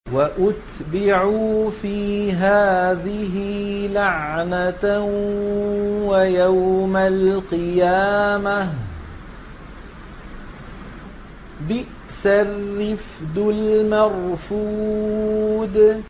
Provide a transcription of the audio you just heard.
وَأُتْبِعُوا فِي هَٰذِهِ لَعْنَةً وَيَوْمَ الْقِيَامَةِ ۚ بِئْسَ الرِّفْدُ الْمَرْفُودُ